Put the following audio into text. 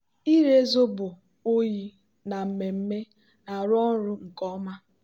ịre zobo oyi na mmemme na-arụ ọrụ nke ọma.